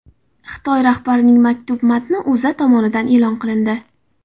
Xitoy rahbarining maktubi matni O‘zA tomonidan e’lon qilindi .